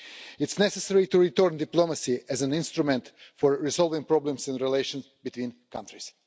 It's necessary to return to diplomacy as an instrument for resolving problems in relations between countries.